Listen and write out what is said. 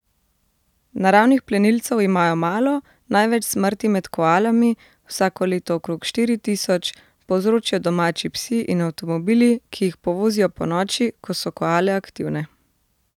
Naravnih plenilcev imajo malo, največ smrti med koalami, vsako leto okrog štiri tisoč, povzročijo domači psi in avtomobili, ki jih povozijo ponoči, ko so koale aktivne.